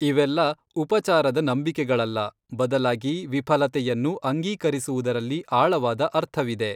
ಇವೆಲ್ಲ ಉಪಚಾರದ ನಂಬಿಕೆಗಳಲ್ಲ, ಬದಲಾಗಿ ವಿಫ‌ಲತೆಯನ್ನು ಅಂಗೀಕರಿಸುವುದರಲ್ಲಿ ಆಳವಾದ ಅರ್ಥವಿದೆ.